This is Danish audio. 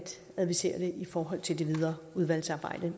advisere det i forhold til det videre udvalgsarbejde